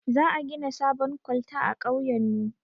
Za a gina sabon kwalta a kauyen mu